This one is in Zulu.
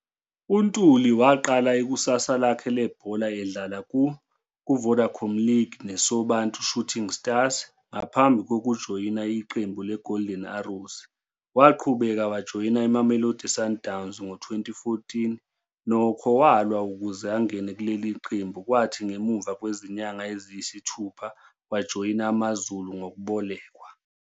UNtuli waqala ikusasa lakhe lebhola edlala ku-I-Vodacom League ne-Sobantu Shooting Stars ngaphambi kokujoyina iqembu le-Golden Arrows. Waqhubeka wajoyina i-Mamelodi Sundowns ngo-2014, nokho, walwa ukuze angene kuleli qembu kwathi ngemumva kwezinyanga eziyisithupha wajoyina AmaZulu ngokubolekwa.